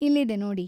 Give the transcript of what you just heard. ಇಲ್ಲಿದೆ ನೋಡಿ.